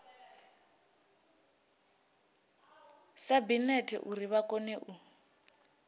sabinete uri vha kone u